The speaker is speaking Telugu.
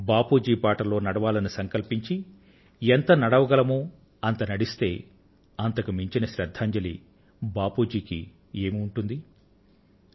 మనం బాపూ జీ బాటలో నడవాలని సంకల్పించి ఎంత నడవగలమో అంత నడిస్తే అంతకు మించిన శ్రద్ధాంజలి బాపూ జీకి ఏమి ఉంటుంది